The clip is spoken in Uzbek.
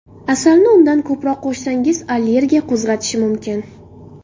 Asalni undan ko‘proq qo‘shsangiz allergiya qo‘zg‘atishi mumkin.